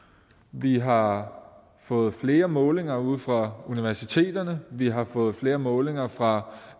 vi har fået flere målinger ude fra universiteterne vi har fået flere målinger fra